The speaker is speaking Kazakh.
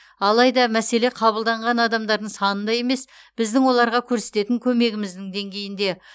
алайда мәселе қабылданған адамдардың санында емес біздің оларға көрсететін көмегіміздің деңгейінде